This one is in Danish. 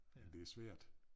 Men det svært